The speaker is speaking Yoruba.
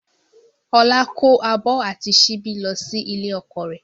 Ọlá kó abọ́ àti síbí lọ sí ilé ọkọ rẹ̀